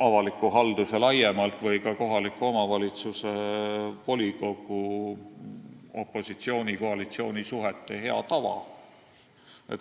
avalikus halduses laiemalt või ka kohaliku omavalitsuse volikogus opositsiooni ja koalitsiooni suhete hea tava.